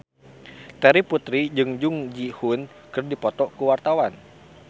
Terry Putri jeung Jung Ji Hoon keur dipoto ku wartawan